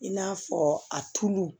I n'a fɔ a tulu